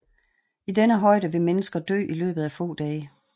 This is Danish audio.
I denne højde vil mennesker dø i løbet af få dage